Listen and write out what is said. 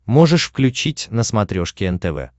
можешь включить на смотрешке нтв